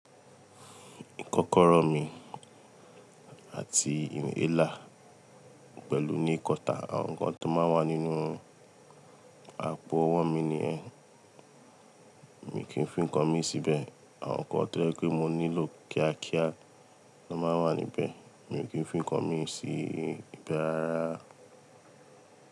Kọ́kọrọ́ mi àti inhaler pẹ̀lú nail kọta, àwọn nǹkan tó máa ń wà nínú àpò ọwọ́ mi ni ẹ́, mi kì í fi nǹkan mi síbẹ̀. Àwọn nǹkan tó yẹ pé mo nílò kíá kíá máa ń wà níbẹ̀, mi ò kí ń fi nǹkan mi sí ibẹ rárá.